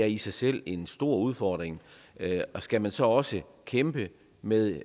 i sig selv en stor udfordring og skal man så også kæmpe med